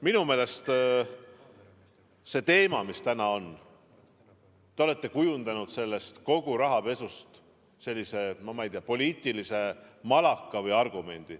Minu meelest see teema, mis täna on – te olete kujundanud kogu rahapesust sellise poliitilise malaka või argumendi.